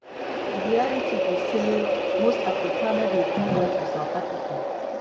di realitybe say most afrikaner dey do well for south africa.